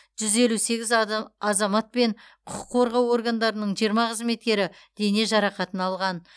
жүз елу сегіз ада азамат пен құқық қорғау органдарының жиырма қызметкері дене жарақатын алған